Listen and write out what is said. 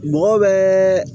Mɔgɔw bɛ